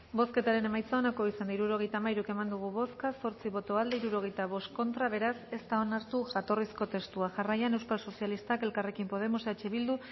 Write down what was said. bozketaren emaitza onako izan da hirurogeita hamairu eman dugu bozka zortzi boto aldekoa sesenta y cinco contra beraz ez da onartu jatorrizko testua jarraian euskal sozialistak elkarrekin podemos eh bildu